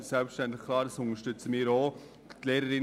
Diesen Antrag unterstützen wir selbstverständlich auch.